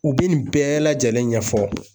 U bɛ nin bɛɛ lajɛlen ɲɛfɔ